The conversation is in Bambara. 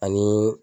Ani